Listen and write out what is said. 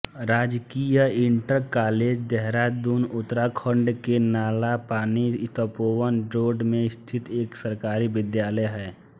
राजकीय inter college Dehradun Uttarakhand के Nalapani Tapovan road में स्थित एक सरकारी विद्यालय है